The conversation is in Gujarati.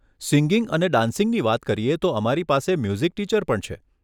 સિંગિંગ અને ડાન્સિંગની વાત કરીએ તો અમારી પાસે મ્યુઝિક ટીચર પણ છે.